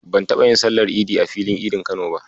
Ban taɓa yin sallar Idi a filin Idin Kano ba.